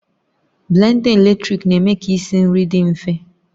Blenda eletrik na-eme ka isi nri dị mfe